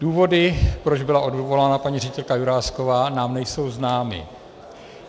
Důvody, proč byla odvolána paní ředitelka Jurásková, nám nejsou známy.